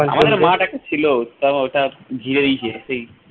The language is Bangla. আমাদের ও মাঠ একটা ছিল তো হঠাৎ ধুয়ে দিয়েছে